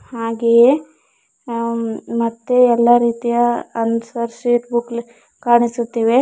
ಹಾಗೆಯೇ ಮತ್ತೆ ಎಲ್ಲ ರೀತಿಯ ಆನ್ಸರ್ ಶೀಟ್ ಬುಕ್ಲೆ ಕಾಣಿಸುತ್ತಿವೆ.